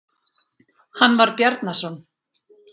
Hann var Bjarnason.